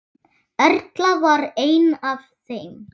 Erla var ein af þeim.